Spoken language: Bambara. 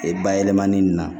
Ee bayɛlɛmani nin na